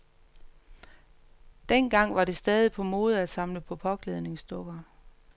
Dengang var det stadig på mode at samle på påklædningsdukker.